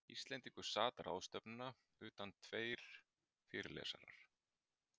Íslendingur sat ráðstefnuna utan tveir fyrirlesarar.